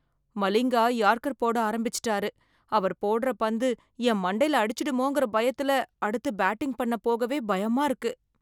Malinga yorker போட ஆரம்பிச்சிட்டாரு, அவர் போடுற பந்து என் மண்டைல அடிச்சிடுமோங்கற பயத்துல அடுத்து பேட்டிங் பண்ண போகவே பயமா இருக்கு.